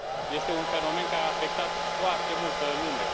Este un fenomen care a afectat foarte multă lume.